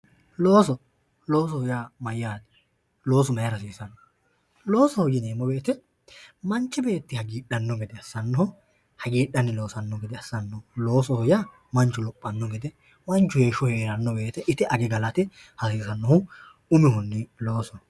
Looso, loosoho yaa mayyaate? Loosu mayira hasiisanno? Loosoho yineemmo woyite manchi beetti hagiidhanno gede assannoho. Hagiidhanni loosanno gede assannoho. Loosoho yaa manchu lophanno gede manchu heeshsho heeranno woyite ite age galate hasiisannohu umihunni loosoho.